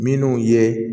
Minnu ye